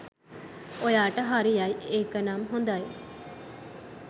ඔයාට හරියයි ඒකනම් හොදයි